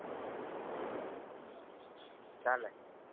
ચાલે